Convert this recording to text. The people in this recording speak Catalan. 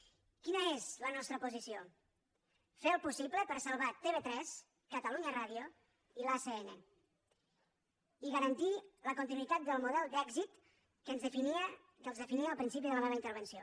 quina és la nostra posició fer el possible per salvar tv3 catalunya ràdio i l’acn i garantir la continuïtat del model d’èxit amb què els definia al principi de la meva intervenció